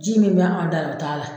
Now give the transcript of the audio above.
Ji min b'anw ta la o t'a la